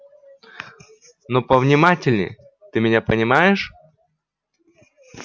но повнимательнее ты меня понимаешь